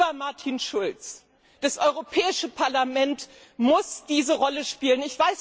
Lieber Martin Schulz, das Europäische Parlament muss diese Rolle spielen.